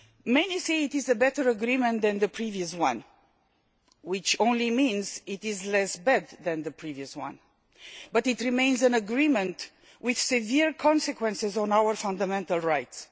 Many say it is a better agreement than the previous one which only means it is less bad than the previous one but it remains an agreement with severe consequences for our fundamental rights.